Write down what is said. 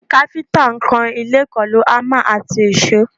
Káfíńtà ń kan ilé pẹ̀lú hámà àti èṣó